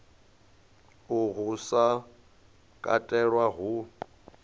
uhu u sa katelwa hu